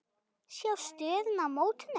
Sjá stöðuna í mótinu.